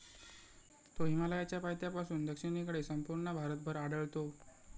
तो हिमालयाच्या पायथ्यापासून दक्षिणेकडे संपूर्ण भारतभर आढळतो.